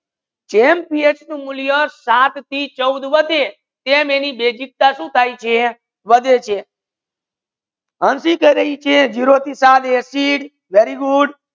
જેમ PH નુ મુલ્યા સાત થી ચૌદ વધે તેમ એની બેઝિકતા સુ થાય છે વાધે છે હંસી કહી રાહી છે ઝીરો થી સાત એસિડ very good